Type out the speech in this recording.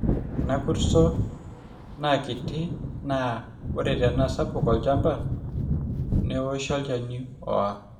ore ena kurto naa kiti naa ore tenaa sapuk olchamba neoshi olchani oor